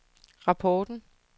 rapporten